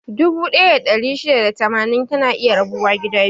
Dubu ɗaya da ɗari shida da tamanin, tana iya rabuwa biyu.